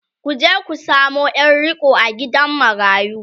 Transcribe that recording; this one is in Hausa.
ku je ku samo Yar riƙo a gidan marayu!